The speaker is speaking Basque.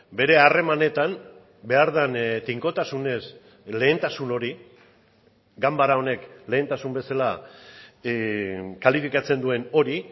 bere harremanetan behar den tinkotasunez lehentasun hori ganbara honek lehentasun bezala kalifikatzen duen hori